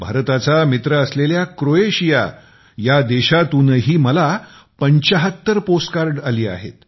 भारताचा मित्र असलेल्या क्रोएशिया या देशातूनही मला 75 पोस्ट कार्ड आली आहेत